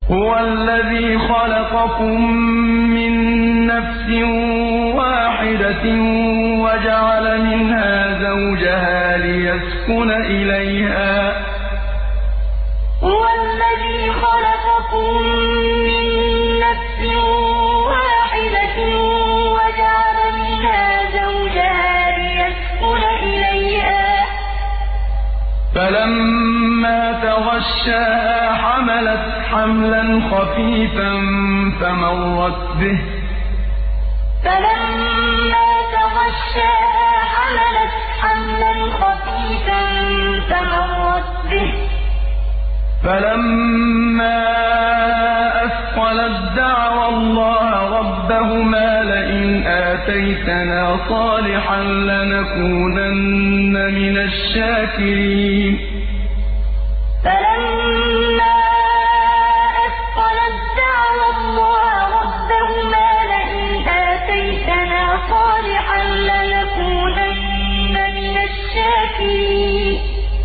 ۞ هُوَ الَّذِي خَلَقَكُم مِّن نَّفْسٍ وَاحِدَةٍ وَجَعَلَ مِنْهَا زَوْجَهَا لِيَسْكُنَ إِلَيْهَا ۖ فَلَمَّا تَغَشَّاهَا حَمَلَتْ حَمْلًا خَفِيفًا فَمَرَّتْ بِهِ ۖ فَلَمَّا أَثْقَلَت دَّعَوَا اللَّهَ رَبَّهُمَا لَئِنْ آتَيْتَنَا صَالِحًا لَّنَكُونَنَّ مِنَ الشَّاكِرِينَ ۞ هُوَ الَّذِي خَلَقَكُم مِّن نَّفْسٍ وَاحِدَةٍ وَجَعَلَ مِنْهَا زَوْجَهَا لِيَسْكُنَ إِلَيْهَا ۖ فَلَمَّا تَغَشَّاهَا حَمَلَتْ حَمْلًا خَفِيفًا فَمَرَّتْ بِهِ ۖ فَلَمَّا أَثْقَلَت دَّعَوَا اللَّهَ رَبَّهُمَا لَئِنْ آتَيْتَنَا صَالِحًا لَّنَكُونَنَّ مِنَ الشَّاكِرِينَ